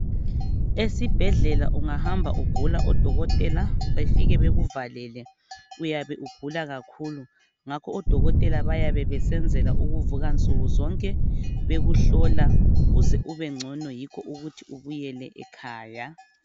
Esibhedlela ungahamba ugula odokotela befike bekuvalele, uyabe ugula kakhulu. Ngakho odokotela bayabe besenzela ukuvuka nsuku zonke bekuhlola uze ubengcono yikho ukuthi ubuyele ekhaya.